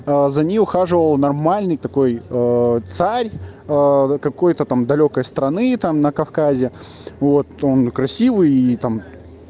за ней ухаживал нормальный такой царь какой-то там далёкой страны там на кавказе вот он красивый и там